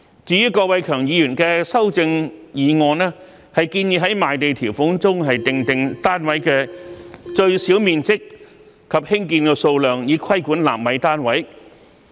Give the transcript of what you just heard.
至於郭偉强議員的修正案，建議在賣地條款中訂定單位的最小面積及興建數量，以規管納米單位。